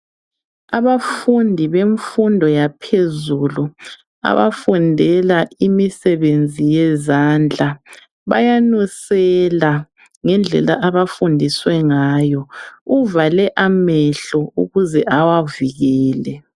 Abafundi bemfundo yaphezulu abafundela imisebenzi yezandla bayanunsela ngendlela abafundiswe ngayo uvale amehlo ukuze awavikele